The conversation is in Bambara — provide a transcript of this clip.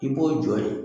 I b'o jɔ ye